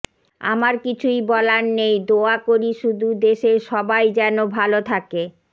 আমার কিছুই বলার নেই দোয়া করি সুধু দেশের সবাই জেনো ভালো থাকে